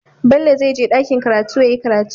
Bello zai je dakiin karatu yayi karatu